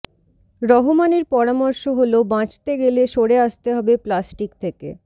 রহমানের পরামর্শ হল বাঁচতে গেলে সরে আসতে হবে প্লাস্টিক থেকে৻